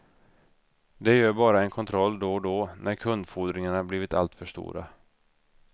De gör bara en kontroll då och då när kundfordringarna blivit alltför stora.